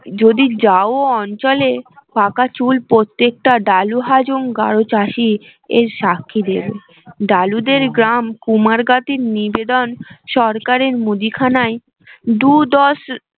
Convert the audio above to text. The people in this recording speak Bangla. যদি যাও ও অঞ্চলে পাকা চুল প্রত্যেকটা ডালুহাজং গাড়ো চাষি এর সাক্ষী দেবে ডালু দের গ্রাম কুমারগাতির নিবেদন সরকারের মুদিখানায় দু দশ